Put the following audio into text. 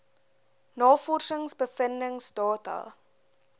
navorsings bevindings data